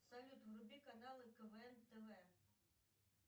салют вруби каналы квн тв